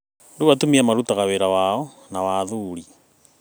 Rĩu atumia marutaga wĩra wao na wa athuri,